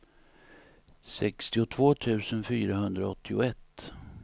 sextiotvå tusen fyrahundraåttioett